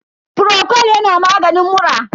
frocol yana maganin mura.